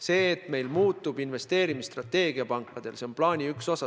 See, et meil muutub pankade investeerimisstrateegia, on plaani üks osa.